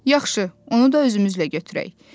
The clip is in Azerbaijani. Yaxşı, onu da özümüzlə götürək.